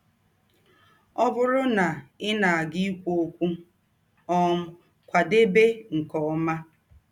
Ọ bụrụ na ị na - aga ikwụ ọkwụ, um kwadebe nke ọma.